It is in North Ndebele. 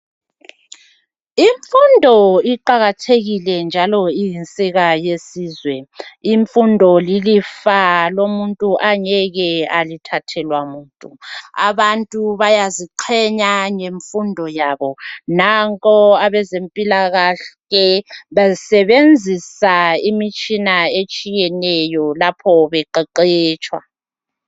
Imfundo iqakathekile njalo iyinsika yelizwe . Imfundo iyilifa umuntu angeke alithathelwa muntu. Abantu bayaziqhenya ngemfundo yabo. Nampo abezempilakahle e besebenzisa imitshina eyehlukeneyo lapho beqeqetsha.